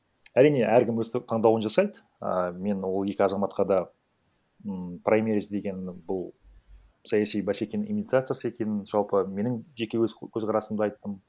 әрине әркім өстіп таңдауын жасайды і мен ол екі азаматқа да м праймериз деген бұл саяси бәсекенің имитациясы екенін жалпы менің жеке өз көзқарасымды айттым